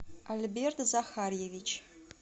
альберт захарьевич